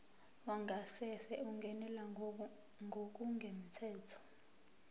wangasese ungenelwe ngokungemthetho